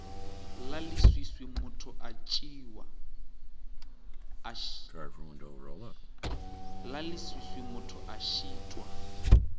la leswiswi motho a šitwa